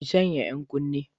Ki sanya yan kunne!